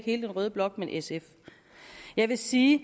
hele den røde blok men sf jeg vil sige